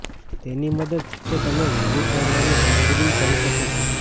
તે ની મદદ સાથે તમે વિવિધ તોડવાની કામગીરી કરી શકે છે